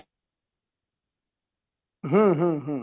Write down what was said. ହୁଁ ହୁଁ ହୁଁ